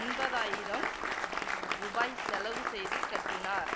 எண்பதாயிரம் ரூபாய் செலவு செய்து கட்டினார்